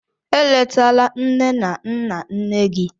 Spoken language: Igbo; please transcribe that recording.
Eletala nne na nna nne gị!